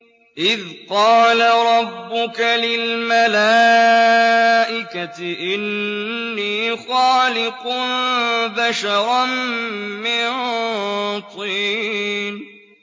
إِذْ قَالَ رَبُّكَ لِلْمَلَائِكَةِ إِنِّي خَالِقٌ بَشَرًا مِّن طِينٍ